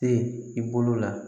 Te i bolo la